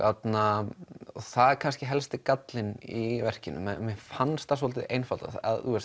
það er kannski helsti gallinn í verkinu mér fannst það dálítið einfaldað